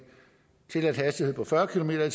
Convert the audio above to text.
tilladt hastighed på fyrre kilometer